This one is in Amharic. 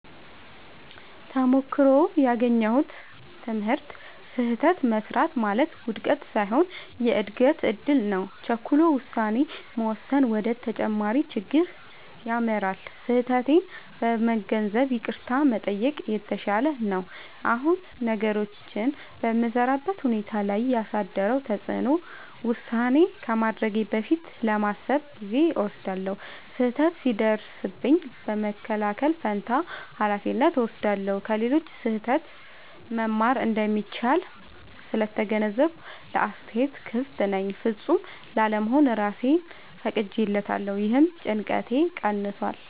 ተሞክሮው ያገኘሁት ትምህርት፦ · ስህተት መሥራት ማለት ውድቀት ሳይሆን የእድገት እድል ነው። · ቸኩሎ ውሳኔ መወሰን ወደ ተጨማሪ ችግር ይመራል። · ስህተቴን በመገንዘብ ይቅርታ መጠየቅ የተሻለ ነው። አሁን ነገሮችን በምሠራበት ሁኔታ ላይ ያሳደረው ተጽዕኖ፦ · ውሳኔ ከማድረጌ በፊት ለማሰብ ጊዜ እወስዳለሁ። · ስህተት ሲደርስብኝ በመከላከል ፋንታ ኃላፊነት እወስዳለሁ። · ከሌሎች ስህተት መማር እንደሚቻል ስለተገነዘብኩ ለአስተያየት ክፍት ነኝ። · ፍጹም ላለመሆን እራሴን ፈቅጄለታለሁ — ይህም ጭንቀቴን ቀንሷል።